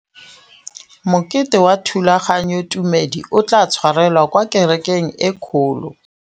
Mokete wa thulaganyôtumêdi o tla tshwarelwa kwa kerekeng e kgolo.